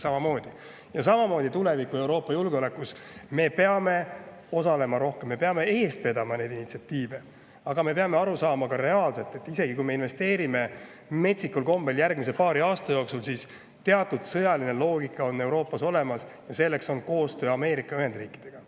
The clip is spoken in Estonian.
Samamoodi peame me tulevikus Euroopa julgeolekus rohkem osalema, me peame eest vedama initsiatiive, aga me peame ka aru saama, et isegi kui me järgmise paari aasta jooksul investeerime metsikul kombel, siis teatud sõjaline loogika Euroopas, ja selleks on koostöö Ameerika Ühendriikidega.